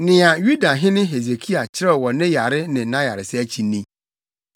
Nea Yudahene Hesekia kyerɛw wɔ ne yare ne nʼayaresa akyi ni: